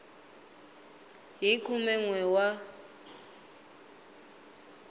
hi khume n we wa